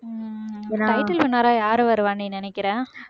ஹம் title winner ஆ யாரு வருவான்னு நீ நினைக்கிற